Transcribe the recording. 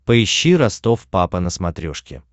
поищи ростов папа на смотрешке